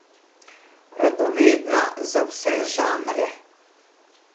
Radovedna za vse žanre.